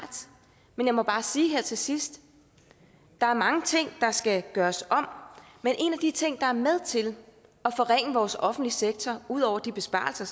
men jeg må bare sige her til sidst der er mange ting der skal gøres om men en af de ting der er med til at forringe vores offentlige sektor ud over de besparelser